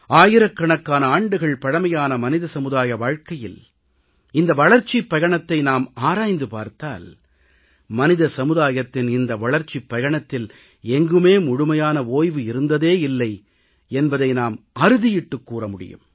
ஆயிரக்கணக்கான ஆண்டுகள் பழமையான மனித சமுதாய வாழ்க்கையில் இந்த வளர்ச்சிப் பயணத்தை நாம் ஆராய்ந்து பார்த்தால் மனித சமுதாயத்தின் இந்த வளர்ச்சிப் பயணத்தில் எங்குமே முழுமையான ஓய்வு இருந்ததே இல்லை என்பதை நாம் அறுதியிட்டுக் கூற முடியும்